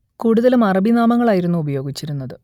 കൂടുതലും അറബി നാമങ്ങൾ ആയിരുന്നു ഉപയോഗിച്ചിരുന്നത്